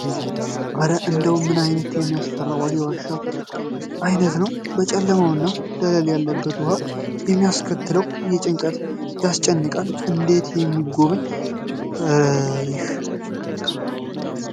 ኧረ እንደው ምን አይነት የሚያስፈራ የዋሻ ውስጥ እይታ ነው! ጨለማውና ደለል ያለበት ውሃ የሚያስከትለው ጭንቀት ያስጨንቃል! እንዴት ነው የሚጎበኘው እ ይህ